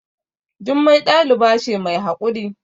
Jummai ɗaliba ce mai haƙuri